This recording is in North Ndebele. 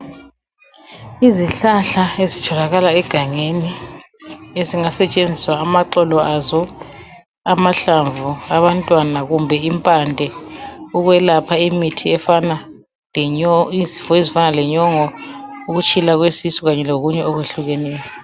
Izihlahla ezitholakala egangeni ezingasetshenziswa amaxolo azo, amahlamvu, abantwana kumbe impande ukwelapha izifo ezifana lenyongo, ukutshilwa kwesisu kanye lokunye okuhlukeneyo.